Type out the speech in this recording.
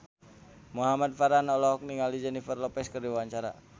Muhamad Farhan olohok ningali Jennifer Lopez keur diwawancara